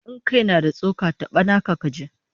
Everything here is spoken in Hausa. In kai na da tsoka, taba naka kaji!